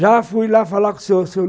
Já fui lá falar com o seu seu